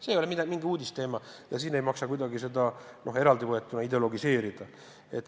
See ei ole mingi uudisteema ja siin ei maksa seda kuidagi ideologiseerida.